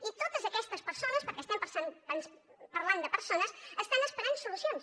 i totes aquestes persones perquè estem parlant de persones estan esperant solucions